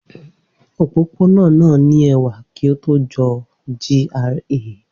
Opopona naa ni a ṣe ẹwa titi o fi dabi GRA